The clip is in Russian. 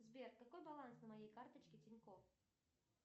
сбер какой баланс на моей карточке тинькофф